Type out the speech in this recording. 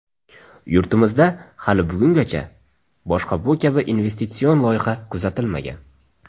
Yurtimizda hali bugungacha boshqa bu kabi investitsion loyiha kuzatilmagan.